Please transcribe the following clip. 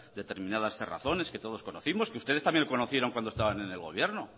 determinadas cerrazones que todos conocimos que ustedes también conocieron cuando estaban en el gobierno